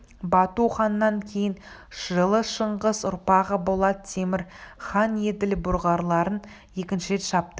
бату ханнан кейін жылы шыңғыс ұрпағы болат темір хан еділ бұлғарларын екінші рет шапты